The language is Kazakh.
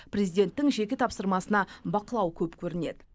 президенттің жеке тапсырмасына бақылау көп көрінеді